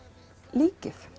líkið